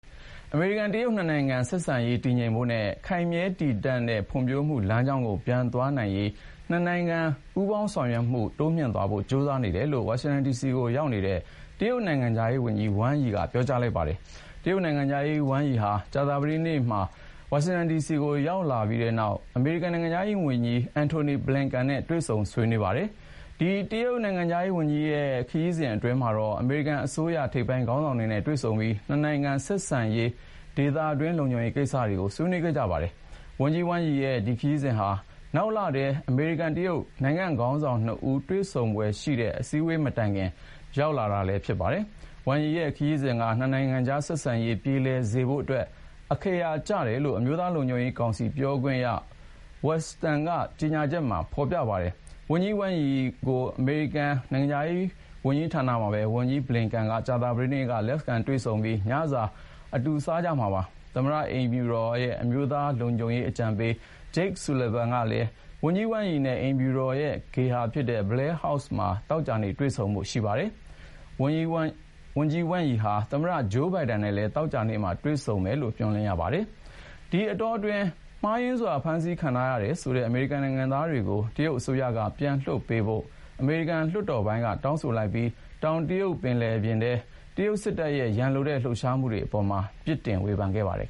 အမေရိကန်-တရုတ် နှစ်နိုင်ငံဆက်ဆံရေးတည်ငြိမ်ဖို့နဲ့ ခိုင်မြဲတည်တံတဲ့ဖွံဖြိုးမှုလမ်းကြောင်းကို ပြန်သွားနိုင်ရေး နှစ်နိုင်ငံပူးပေါင်းဆောင်ရွက်မှု တိုးမြှင့်သွားဖို့ ကြိုးစားနေတယ်လို့ ဝါရှင်တန်ဒီစီကိုရောက်နေတဲ့ တရုတ်နိုင်ငံခြားရေးဝန်ကြီး Wang Yi က ပြောလိုက်ပါတယ်။ တရုတ်နိုင်ငံခြားရေးဝန်ကြီး Wang Yi ဟာ ကြာသပတေးနေ့မှာ ဝါရှင်တန်ဒီစီကို ရောက်လာပြီးနောက် အမေရိကန်နိုင်ငံခြားရေးဝန်ကြီး Antony Blinken နဲ့ တွေ့ဆုံဆွေးနွေးခဲ့ပါတယ်။ ဒီ တရုတ်နိုင်ငံခြားရေးဝန်ကြီးရဲ့ ဒီခရီးစဉ်အတွင်းမှာတော့ အမေရိကန်အစိုးရ ထိပ်ပိုင်းခေါင်းဆောင်တွေနဲ့ တွေ့ဆုံပြီး နှစ်နိုင်ငံဆက်ဆံရေးနဲ့ ဒေသတွင်း လုံခြုံရေးကိစ္စတွေကို ဆွေးနွေးခဲ့ကြပါတယ်။ ဝန်ကြီး Wang Yi ရဲ့ ဒီခရီးစဥ်ဟာ နောက်လထဲ အမေရိကန်-တရုတ် နိုင်ငံ့ခေါင်းဆောင် (၂) ဦး တွေ့ဆုံဖွယ်ရှိတဲ့ အစည်းအဝေး မတိုင်ခင် ရောက်လာတာပါ။ Wang Yi ရဲ့ ခရီးစဥ်က နှစ်နိုင်ငံကြား ဆက်ဆံရေးပြေလည်စေဖို့အတွက် အခရာ ကျတယ်လို့ အမျိုးသားလုံခြုံရေးကောင်စီ ပြောခွင့်ရ Adrienne Watson ရဲ့ ကြေညာချက်ထဲမှာ ဖေါ်ပြပါတယ်။ ဝန်ကြီး Wang Yi ကို အမေရိကန်နိုင်ငံခြားရေးဌာနမှာပဲ ဝန်ကြီး Antony Blinken က ကြာသပတေးနေ့ လက်ခံတွေ့ဆုံပြီး ညစာ အတူစားကြမှာပါ။ သမ္မတအိမ်ဖြူတော် အမျိုးသားလုံခြုံရေးအကြံပေး Jake Sullivan ကလည်း ဝန်ကြီး Wang Yi နဲ့ အိမ်ဖြူတော်ရဲ့ ဧည့်ဂေဟာ Blair House မှာ သောကြာနေ့ တွေ့ဆုံဖို့ ရှိပါတယ်။ ဝန်ကြီး Wang Yi ဟာ သမ္မတ Joe Biden နဲ့လည်း သောကြာနေ့မှာ တွေ့ဆုံမယ်လို့ မျှော်လင့်ရပါတယ်။ ဒီအတောတွင်း မှားယွင်းစွာ ဖမ်းဆီးခံထားရတယ်ဆိုတဲ့ အမေရိကန်နိုင်ငံသားတွေကို တရုတ်အစိုးရက ပြန်လွှတ်ပေးဖို့ အမေရိကန်လွှတ်တော်ပိုင်းက တောင်းဆိုလိုက်ပြီး တောင်တရုတ်ပင်လယ်ပြင်တွင်း တရုတ်စစ်တပ်ရဲ့ ရန်လိုတဲ့လှုပ်ရှားမှုအပေါ်မှာလည်း ပြစ်တင်ဝေဖန်ခဲ့ပါတယ်